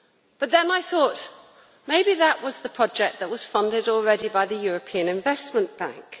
But then I thought, maybe that was the project that was funded already by the European Investment Bank.